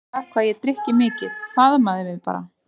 Talaði aldrei um það hvað ég drykki mikið, faðmaði mig bara.